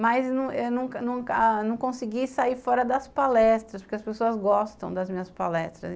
Mas eu nunca nunca nunca a consegui sair fora das palestras, porque as pessoas gostam das minhas palestras.